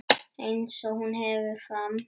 Eins og hún heldur fram.